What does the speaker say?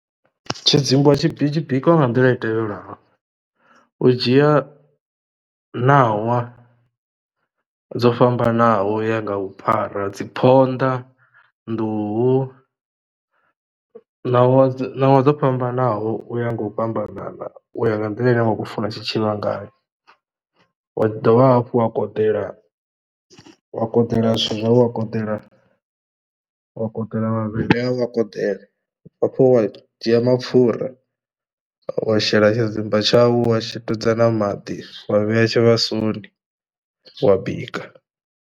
Tshidzimba tshi bi tshi bikwa nga nḓila i tevhelaho, u dzhia ṋawa dzo fhambanaho uya nga vhuphara dzi phonḓa, nḓuhu ṋawa ṋawa dzo fhambanaho uya nga u fhambanana u ya nga nḓila ine wa khou funa tshitshivha ngayo wa dovha hafhu wa koḓela, wa koḓela zwithu zwau wa koḓela wa koḓela mavhele au wa koḓela u bva hafhu wa dzhia mapfura wa shela tshidzimba tshau wa twedza maḓi wa vhea tshivhasoni wa bika.